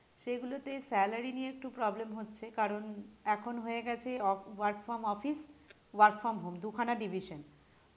সে গুলোতে salary নিয়ে একটু problem হচ্ছে কারণ এখন হয়েগেছে আহ work from office work from home দু খানা division